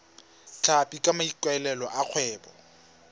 tlhapi ka maikaelelo a kgwebo